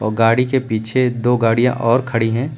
और गाड़ी के पीछे दो गाड़ियां और खड़ी है।